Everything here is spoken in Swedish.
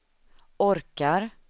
orkar